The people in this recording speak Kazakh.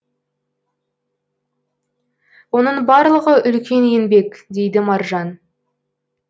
оның барлығы үлкен еңбек дейді маржан